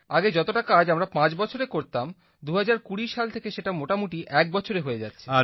আগে যতটা কাজ আমরা পাঁচ বছরে করতাম ২০২০ সাল থেকে সেটা মোটামুটি এক বছরে হয়ে যাচ্ছে